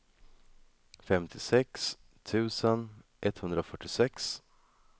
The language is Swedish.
femtiosex tusen etthundrafyrtiosex